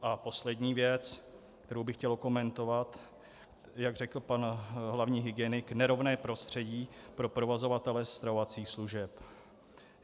A poslední věc, kterou bych chtěl okomentovat, jak řekl pan hlavní hygienik, nerovné prostředí pro provozovatele stravovacích služeb.